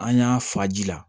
An y'a fa ji la